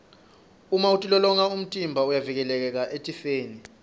uma utilolonga umtimba uyavikeleka etifeni